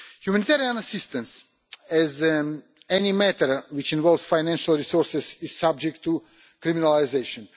Humanitarian assistance, like any matter which involves financial resources, is subject to criminalisation.